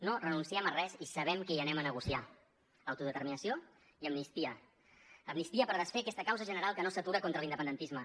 no renunciem a res i sabem què hi anem a negociar autodeterminació i amnistia amnistia per desfer aquesta causa general que no s’atura contra l’independentisme